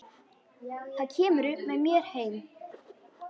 Þá kemurðu með mér heim.